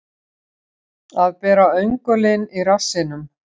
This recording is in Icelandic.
Að bera öngulinn í rassinum